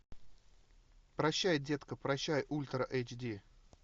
прощай детка прощай ультра эйч ди